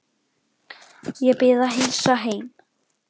Ég bið að heilsa heim.